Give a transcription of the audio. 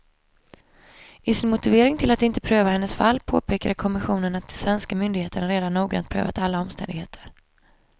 I sin motivering till att inte pröva hennes fall påpekade kommissionen att de svenska myndigheterna redan noggrant prövat alla omständigheter.